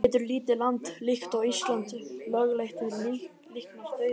En getur lítið land líkt og Ísland lögleitt líknardauða?